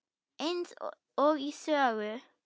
Eins og í sögu.